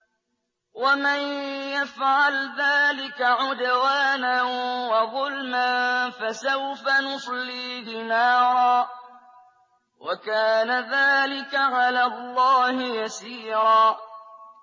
وَمَن يَفْعَلْ ذَٰلِكَ عُدْوَانًا وَظُلْمًا فَسَوْفَ نُصْلِيهِ نَارًا ۚ وَكَانَ ذَٰلِكَ عَلَى اللَّهِ يَسِيرًا